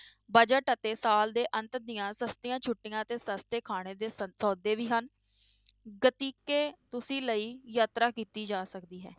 Budget ਅਤੇ ਸਾਲ ਦੇ ਅੰਤ ਦੀਆਂ ਸਸਤੀਆਂ ਛੁੱਟੀਆਂ ਅਤੇ ਸਸਤੇ ਖਾਣੇ ਦੇ ਸ~ ਸੌਦੇ ਵੀ ਹਨ ਤੁਸੀਂ ਲਈ ਯਾਤਰਾ ਕੀਤੀ ਜਾ ਸਕਦੀ ਹੈ।